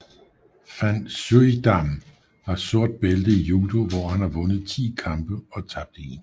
Van Suijdam har sort bælte i judo hvor han har vundet 10 kampe og tabt 1